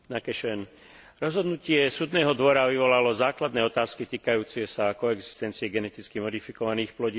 Rozhodnutie Súdneho dvora vyvolalo základné otázky týkajúce sa koexistencie geneticky modifikovaných plodín a včelárstva.